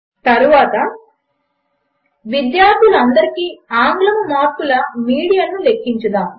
తరువాత విద్యార్థులు అందరికి ఆంగ్లము మార్కుల మీడియన్ను లెక్కించుదాము